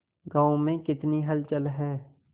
गांव में कितनी हलचल है